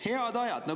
Head ajad.